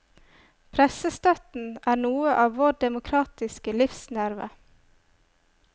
Pressestøtten er noe av vår demokratiske livsnerve.